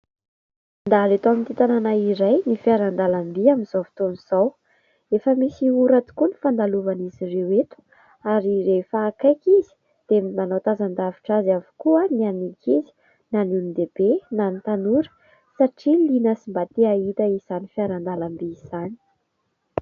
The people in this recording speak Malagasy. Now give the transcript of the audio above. Mandalo eto amin'ity tanàna iray ny fiaran-dalamby amin'izao fotoana izao. Efa misy ora tokoa ny fandalovan'izy ireo eto ary rehefa akaiky izy dia manao tazan-davitra azy avokoa na ny ankizy na ny olon-dehibe na ny tanora satria liana sy mba te ahita izany fiaran-dalamby izany.